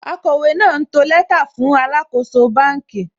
Akọ̀wé náà ń to lẹ́tà fún alàkóso bánkì